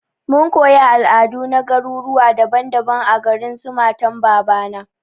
Mun koyi al'adu na garuruwa daban daban a garin su matan babana.